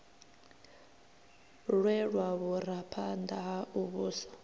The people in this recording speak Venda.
lwelwa vhuraphanḓa ha u vhusa